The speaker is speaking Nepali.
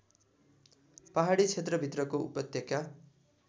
पहाडी क्षेत्रभित्रको उपत्यका